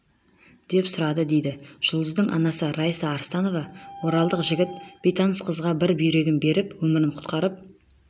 деп сұрады дейді жұлдыздың анасы раиса арыстанова оралдық жігіт бейтаныс қызға бір бүйрегін беріп өмірін құтқарып